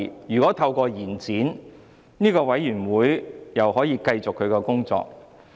如果支持延展，小組委員會便可以繼續工作。